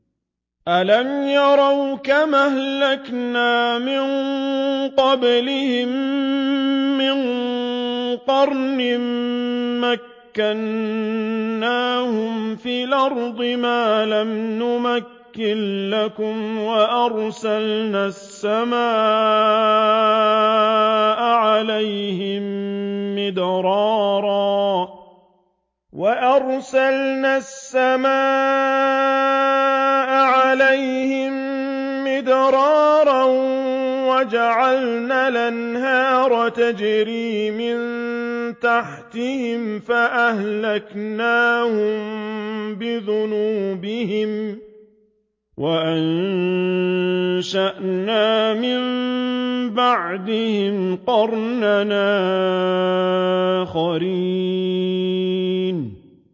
أَلَمْ يَرَوْا كَمْ أَهْلَكْنَا مِن قَبْلِهِم مِّن قَرْنٍ مَّكَّنَّاهُمْ فِي الْأَرْضِ مَا لَمْ نُمَكِّن لَّكُمْ وَأَرْسَلْنَا السَّمَاءَ عَلَيْهِم مِّدْرَارًا وَجَعَلْنَا الْأَنْهَارَ تَجْرِي مِن تَحْتِهِمْ فَأَهْلَكْنَاهُم بِذُنُوبِهِمْ وَأَنشَأْنَا مِن بَعْدِهِمْ قَرْنًا آخَرِينَ